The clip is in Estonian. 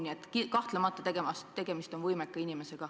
Nii et kahtlemata on tegemist võimeka inimesega.